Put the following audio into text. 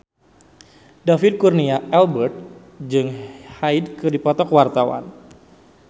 David Kurnia Albert jeung Hyde keur dipoto ku wartawan